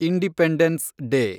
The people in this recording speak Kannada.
independence day